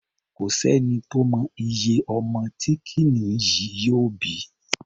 Kò sẹ́ni tó mọ iye ọmọ tí kìnìún yìí yóò bí.